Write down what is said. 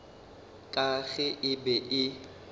ka ge e be e